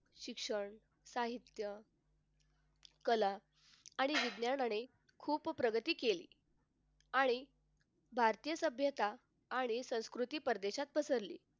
शिक्षण साहित्य कला आणि विज्ञानाने खूप प्रगती केली आणि भारतीय सभ्यता आणि संस्कृती परदेशात पसरली.